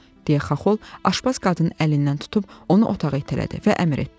deyə Xaxol aşpaz qadının əlindən tutub onu otağa itələdi və əmr etdi.